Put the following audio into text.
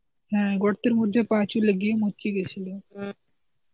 হ্যাঁ গর্তের মধ্যে পা চলে গিয়ে মচকে গিয়েছিল.